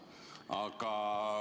Aga ...